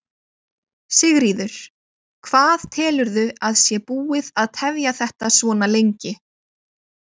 Sigríður: Hvað telurðu að sé búið að tefja þetta svona lengi?